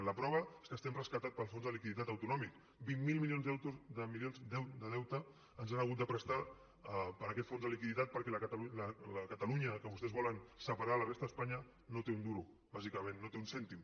i la prova és que estem rescatats pel fons de liquiditat autonòmic vint miler milions de deute ens han hagut de prestar per aquest fons de liquiditat perquè la catalunya que vostès volen separar de la resta d’espanya no té un duro bàsicament no té un cèntim